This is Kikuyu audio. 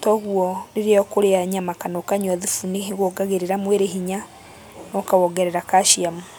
Toguo rĩrĩa ũkũrĩa nyama kana ũkanyua thubu, nĩwongagĩrĩra mwĩrĩ hinya na ũkawongerera kaciamu.